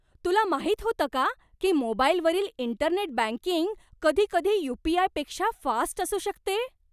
तुला माहित होतं का की मोबाईलवरील इंटरनेट बँकिंग कधीकधी यू.पी.आय.पेक्षा फास्ट असू शकते?